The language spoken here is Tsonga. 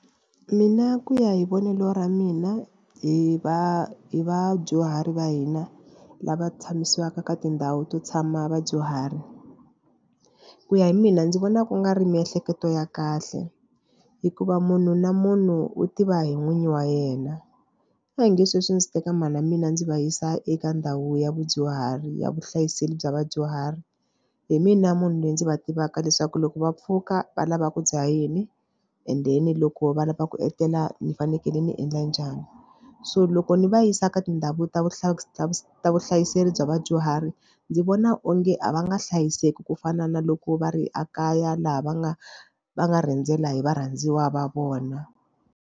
Mina ku ya hi vonelo ra mina hi va hi vadyuhari va hina lava tshamisiwaka ka tindhawu to tshama vadyuhari ku ya hi mina ndzi vona ku nga ri miehleketo ya kahle hikuva munhu na munhu u tiva hi n'winyi wa yena. A hi nge sweswi ndzi teka mhana mina ndzi va yisa eka ndhawu ya vudyuhari ya vuhlayiseki bya vadyuhari hi mina munhu loyi ndzi va tivaka leswaku loko va pfuka va lava ku dya yini and then loko va lava ku etlela ni fanekele ni endla njhani so loko ni va yisa ka tindhawu ta ta vuhlayiseki bya vadyuhari ndzi vona onge a va nga hlayiseki ku fana na loko va ri ekaya laha va nga va nga rhendzela hi varhandziwa va vona.